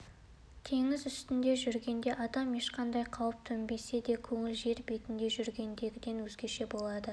теңіз үстінде жүргенде адам ешқандай қауіп төнбесе де көңілі жер бетінде жүргендегіден өзгеше болады